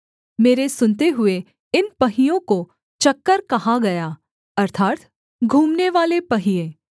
मेरे सुनते हुए इन पहियों को चक्कर कहा गया अर्थात् घूमनेवाले पहिये